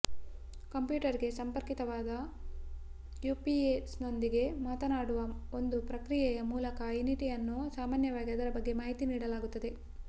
ಕಂಪ್ಯೂಟರ್ಗೆ ಸಂಪರ್ಕಿತವಾದ ಯುಪಿಎಸ್ನೊಂದಿಗೆ ಮಾತನಾಡುವ ಒಂದು ಪ್ರಕ್ರಿಯೆಯ ಮೂಲಕ ಇನಿಟ್ ಅನ್ನು ಸಾಮಾನ್ಯವಾಗಿ ಅದರ ಬಗ್ಗೆ ಮಾಹಿತಿ ನೀಡಲಾಗುತ್ತದೆ